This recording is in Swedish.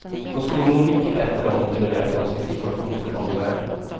Hon skulle må mycket bättre om hon kunde berätta om sin situation för omvärlden.